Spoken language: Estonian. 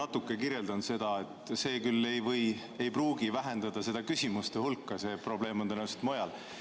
Ma natuke kirjeldan seda, ehkki see ei pruugi vähendada küsimuste hulka, probleem on tõenäoliselt mujal.